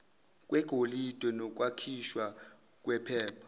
kwegolide nokwakhiwa kwephepha